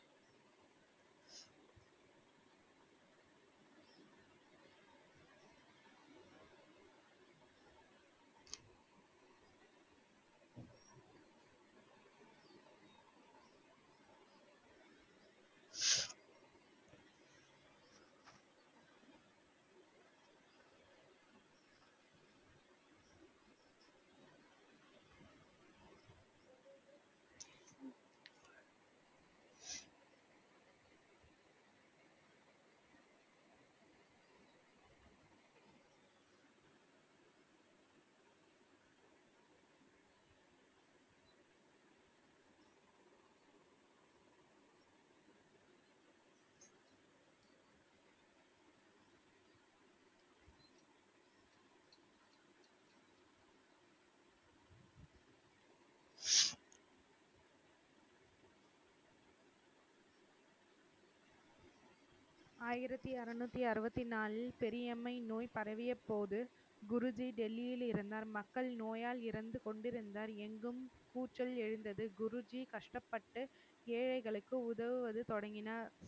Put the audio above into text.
ஆயிரத்தி அறுநூத்தி அறுபத்தி நான்கில் பெரியம்மை நோய் பரவியபோது குருஜி டெல்லியில் இருந்தார் மக்கள் நோயால் இறந்து கொண்டிருந்தார் எங்கும் கூச்சல் எழுந்தது குருஜி கஷ்டப்பட்டு ஏழைகளுக்கு உதவுவது தொடங்கினார்